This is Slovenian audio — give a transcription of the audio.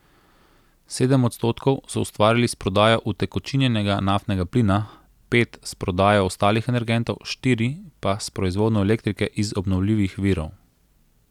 Sedem odstotkov so ustvarili s prodajo utekočinjenega naftnega plina, pet s prodajo ostalih energentov, štiri pa s proizvodnjo elektrike iz obnovljivih virov.